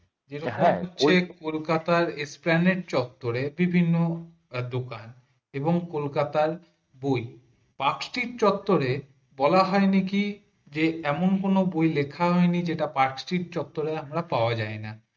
কলকাতা ইস্টেনেক তত্বরে বিভিন্ন দোকান এবং কলকাতা বই নাস্তিক চত্বরে বলা হয় নাকি যে এমন কোন বই নাকি লেখা হয়নি যেটা নাস্তিক চত্বরে আমরা পাওয়া যায় না